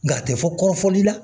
Nka a tɛ fɔ kɔrɔfɔli la